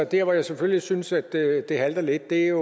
der hvor jeg selvfølgelig synes at det halter lidt er